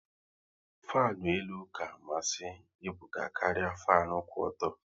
Fanu elu ka amasị Ebuka karịa fanu kwụ ọtọ